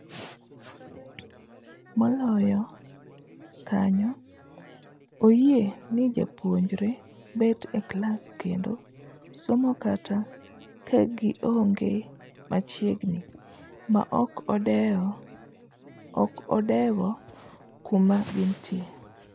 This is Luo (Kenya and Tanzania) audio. Moloyo kanyo, oyie ni jopuonjre bet e klas kendo somo kata kagionge machiegni maok odewo kuma gintie.